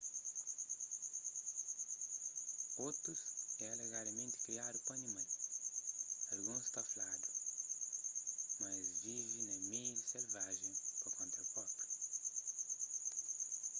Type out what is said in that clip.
otus é alegadamenti kriadu pa animal alguns ta fladu na es vive na meiu selvajen pa konta própriu